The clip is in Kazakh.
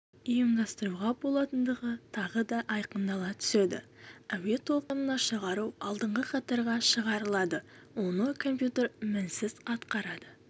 ұйымдастыруға болатындығы тағы да айқындала түседі әуе толқынына шығару алдыңғы қатарға шығарылады оны компьютер мінсіз атқарады